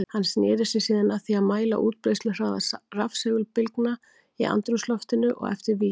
Hann sneri sér síðan að því að mæla útbreiðsluhraða rafsegulbylgna í andrúmsloftinu og eftir vír.